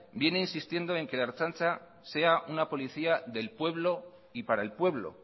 viene insistiendo en que la ertzaintza sea una policía del pueblo y para el pueblo